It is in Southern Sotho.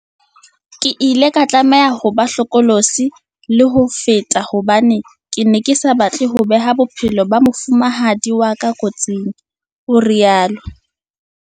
Ke ile ka tlameha ho ba hlokolosi le ho feta hobane ke ne ke sa batle ho beha bophelo ba mofumahadi wa ka kotsing, o rialo.